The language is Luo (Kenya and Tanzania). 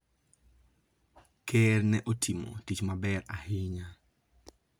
Ker ne otimo tich maber ahinya.